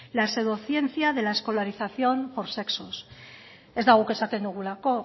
la pseudociencia de la escolarización por sexos ez da guk esaten dugulako